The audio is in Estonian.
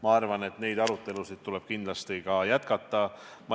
Ma arvan, et neid arutelusid tuleb kindlasti jätkata.